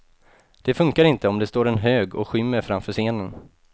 Det funkar inte om det står en hög och skymmer framför scenen.